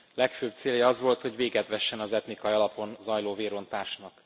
Legfőbb célja az volt, hogy véget vessen az etnikai alapon zajló vérontásnak.